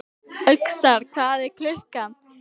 Öxar, hvað er klukkan?